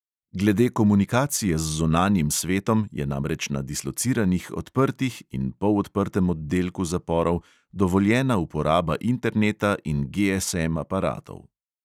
Glede komunikacije z zunanjim svetom je namreč na dislociranih odprtih in polodprtem oddelku zaporov dovoljena uporaba interneta in GSM aparatov.